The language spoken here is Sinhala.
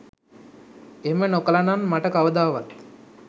එහෙම නොකළ නං මට කවදාවත්